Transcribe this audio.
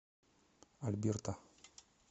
альберта